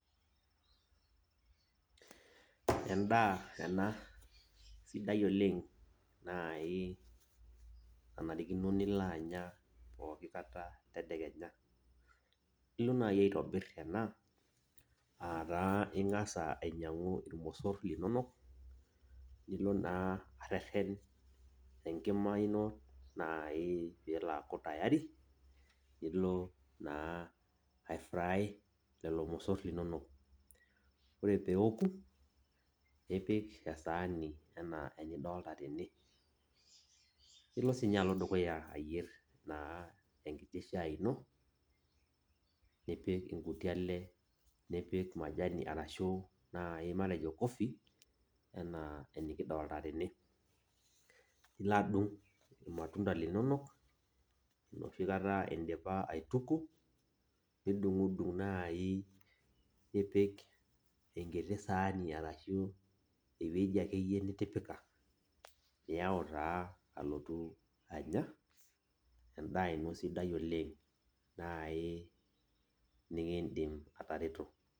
endaa ena sidai oleng naai nanarikino naji ake nilo anya tadekenya, ilo naa aitobir ena ataa ing'asa ainy'angu irmosor linonok nilo naa areren enkima ino nai pilo aku tayari piilo naa aifrai irmsor linonok ore peaku tayari nilo naa apik esaani enaa enidoolta tene, nilo sininye alo dukuya ayier naa enkiti shaai ino nipik inuti ale nipik majani nipik coffee enaa enidolita tene nilo adung' irmatunda linonok enoshi kata indipa Aaituku nidung'dung naai nipik enkiti saani arashu ewueji akeyie nitipika niyau taa alotu anya endaa ino sidai oleng, naai nekindim ayeu atereto.